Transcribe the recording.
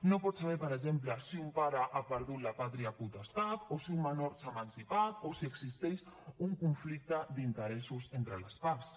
no pot saber per exemple si un pare ha perdut la pàtria potestat o si un menor s’ha emancipat o si existeix un conflicte d’interessos entre les parts